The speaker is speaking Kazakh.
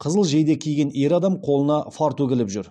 қызыл жейде киген ер адам қолына фартук іліп жүр